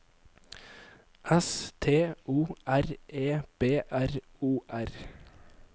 S T O R E B R O R